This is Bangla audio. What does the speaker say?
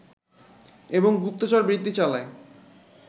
এবং গুপ্তচরবৃত্তি চালায়